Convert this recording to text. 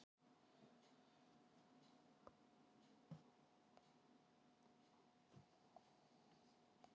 Gaman að sjá þig.